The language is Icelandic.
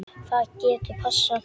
Það getur passað.